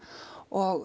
og